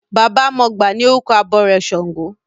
Baba mọgbà ni orúkọ abọrẹ̀ ṣàngó.